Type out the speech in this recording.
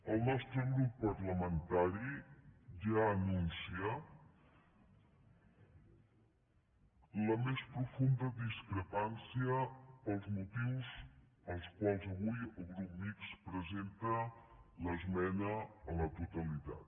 el nostre grup parlamentari ja anuncia la més profunda discrepància pels motius pels quals avui el grup mixt presenta l’esmena a la totalitat